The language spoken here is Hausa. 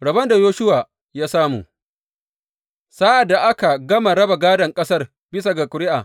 Rabon da Yoshuwa ya samu Sa’ad da aka gama raba gādon ƙasar bisa ga ƙuri’a.